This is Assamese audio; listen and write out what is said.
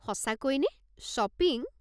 সঁচাকৈ নে? শ্বপিং?